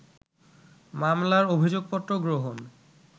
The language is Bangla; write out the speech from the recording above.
মামলার অভিযোগপত্র গ্রহণ